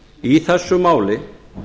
í þessu máli